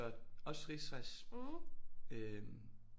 Også Ris Ras øh